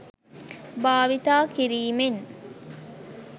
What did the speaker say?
භාවිතා කිරීමෙන්